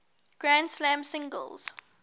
grand slam singles